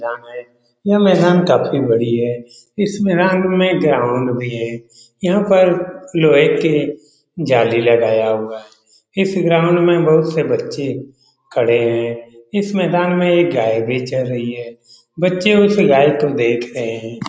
यह मैदान काफी बड़ी है इस मैदान में ग्राउंड भी है यहां पर लोहे के जाली लगाया हुआ है इस ग्राउंड में बहुत से बच्चे खड़े हैं इस मैदान में एक गाय भी चर रही है बच्चे उसे गाय को देख रहे हैं।